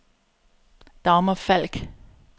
Dagmar Falk